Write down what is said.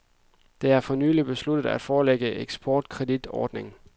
Det er for nylig besluttet at forlænge eksportkreditordningen.